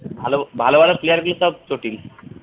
ভালো ভালো player গুলো সব চটিল